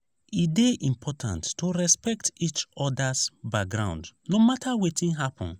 e dey important to respect each other’s background no matter wetin happen.